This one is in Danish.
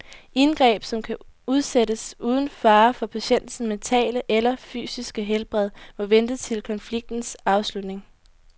Indgreb, som kan udsættes uden fare for patientens mentale eller fysiske helbred, må vente til konfliktens afslutning.